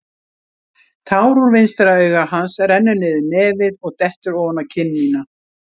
Tár úr vinstra auga hans rennur niður nefið og dettur ofan á kinn mína.